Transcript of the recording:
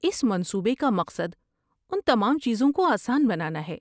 اس منصوبے کا مقصد ان تمام چیزوں کو آسان بنانا ہے۔